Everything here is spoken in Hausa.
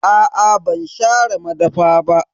Aa ban share madafa ba.